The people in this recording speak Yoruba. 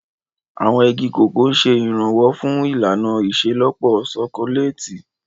Àwọn igi Cocoa ń ṣe ìrànwọ́ fún ìlànà ìṣelọ́pọ̀ ṣokoléètì.